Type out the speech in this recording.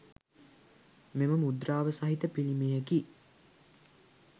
මෙම මුද්‍රාව සහිත පිළිමයකි